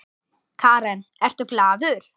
Karen: Ertu glaður?